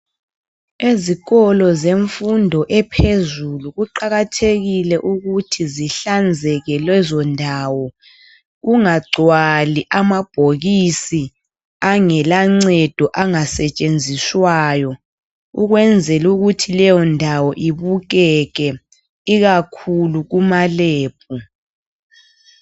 Ezikolo zemfundo ephezulu kuqakathekile ukuthi zihlanzeke lezo ndawo, kungagcwali amabhokisi angelancedo angasetshenziswayo ukwenzela ukuthi leyondawo ibukeke ikakhulu kuma lebhu.